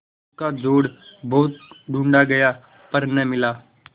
उसका जोड़ बहुत ढूँढ़ा गया पर न मिला